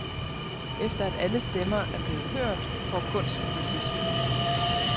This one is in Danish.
Efter at alle stemmer er blevet hørt, får kunsten det sidste ord.